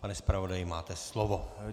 Pane zpravodaji, máte slovo.